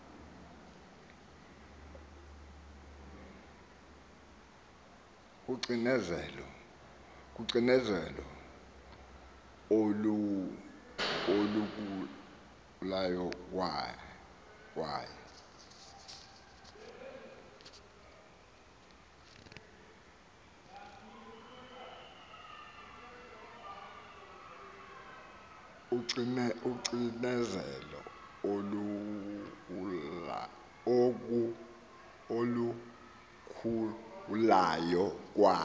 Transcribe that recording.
kocinezelo olukhulayo kwaye